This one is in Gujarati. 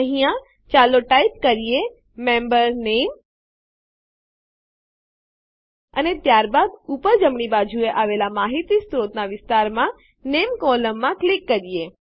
અહીંયા ચાલો ટાઈપ કરીએ મેમ્બર Name160 સભ્યનાં નામ અર્ધવિરામ અને ત્યારબાદ ઉપર જમણી બાજુએ આવેલ માહિતી સ્ત્રોતોનાં વિસ્તારમાં નેમ નામ કોલમમાં ક્લિક કરીએ